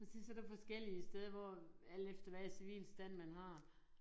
Og så så forskellige steder hvor alt efter hvad civilstand man har